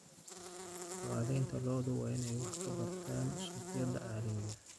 Dhaqanleyda lo'du waa inay wax ka bartaan suuqyada caalamiga ah.